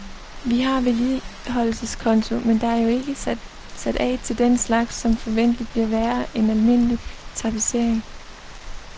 Vi har vedligeholdelseskonto, men der er jo ikke sat af til den slags, som forventelig bliver værre end almindelig tapetsering.